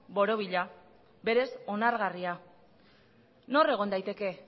borobila berez onargarria nor egon daiteke